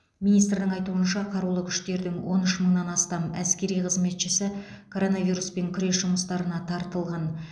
министрдің айтуынша қарулы күштердің он үш мыңнан астам әскери қызметшісі коронавируспен күрес жұмыстарына тартылған